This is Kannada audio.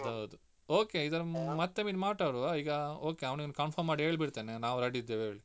ಅದೌದು okay ಇದು ಮತ್ತೊಮ್ಮೆ ಮಾತಾಡುವ ಈಗ okay ಅವನಿಗೆ confirm ಮಾಡಿ ಹೇಳ್ಬಿಡ್ತೇನೆ ನಾವು ready ಇದ್ದೇವೆ ಹೇಳಿ.